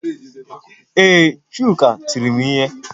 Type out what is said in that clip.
Ee, Chuka tiri m ihe